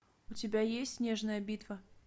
у тебя есть снежная битва